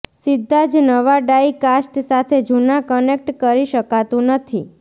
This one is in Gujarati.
સીધા જ નવા ડાઇ કાસ્ટ સાથે જૂના કનેક્ટ કરી શકાતું નથી